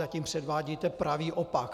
Zatím předvádíte pravý opak.